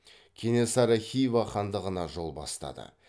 кенесары хива хандығына жол бастады